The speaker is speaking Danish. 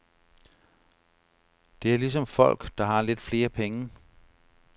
Det er ligesom folk, der har lidt flere penge.